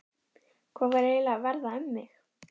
Hvað var eiginlega að verða um mig?